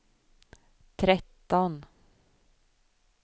tretton